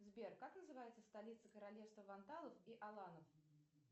сбер как называется столица королевства вандалов и аланов